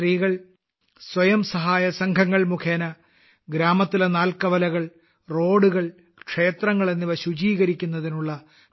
ഈ സ്ത്രീകൾ സ്വയം സഹായ സംഘങ്ങൾ മുഖേന ഗ്രാമത്തിലെ നാല്ക്കവലകൾ റോഡുകൾ ക്ഷേത്രങ്ങൾ എന്നിവ ശുചീകരിക്കുന്നതിനുള്ള പ്രചാരണങ്ങൾ നടത്തുന്നു